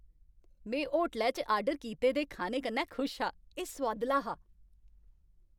में होटलै च आर्डर कीते दे खाने कन्नै खुश हा। एह् सोआदला हा।